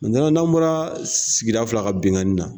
n'an bɔra sigida fila ka binkanni na